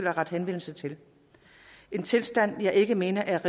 at rette henvendelse til en tilstand jeg ikke mener